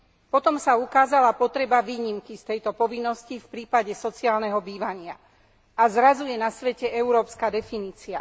Potom sa ukázala potreba výnimky z tejto povinnosti v prípade sociálneho bývania. A zrazu je na svete európska definícia.